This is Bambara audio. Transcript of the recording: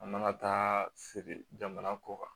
An mana taa feere jamana kɔ kan